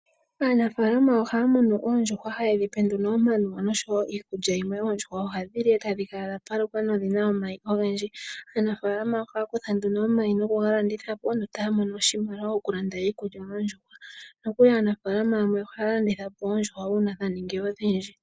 Aanafaalama ohaya muno nduno oondjuhwa nohaye dhi pe omanuwa oshowo iikulya yimwe . Oondjuhwa ohadhi li etadhi kala dha paluka nawa na odhina omayi ogendji . Aanafaalama ohaya kutha nduno omayi nokuga landitha po opo ya mone oshimaliwa shoku landa iikulya yoondjuhwa . Aanafaalama yamwe ohaya landitha po oondjuhwa uuna dha ningi odhindji .